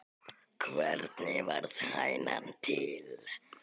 Hvernig varð hænan til?